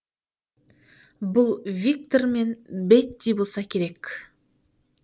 бұл виктор мен бетти болса керек